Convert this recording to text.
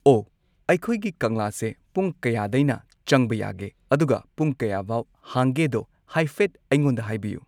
ꯑꯣ ꯑꯩꯈꯣꯏꯒꯤ ꯀꯪꯂꯥꯁꯦ ꯄꯨꯡ ꯀꯌꯥꯗꯩꯅ ꯆꯪꯕ ꯌꯥꯒꯦ ꯑꯗꯨꯒ ꯄꯨꯡ ꯀꯌꯥꯕꯥꯎ ꯍꯥꯡꯒꯦꯗꯣ ꯍꯥꯏꯐꯦꯠ ꯑꯩꯉꯣꯟꯗ ꯍꯥꯏꯕꯤꯌꯨ